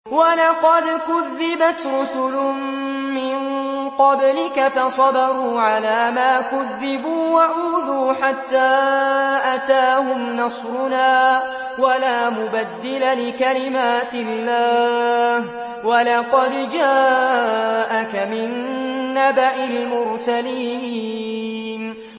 وَلَقَدْ كُذِّبَتْ رُسُلٌ مِّن قَبْلِكَ فَصَبَرُوا عَلَىٰ مَا كُذِّبُوا وَأُوذُوا حَتَّىٰ أَتَاهُمْ نَصْرُنَا ۚ وَلَا مُبَدِّلَ لِكَلِمَاتِ اللَّهِ ۚ وَلَقَدْ جَاءَكَ مِن نَّبَإِ الْمُرْسَلِينَ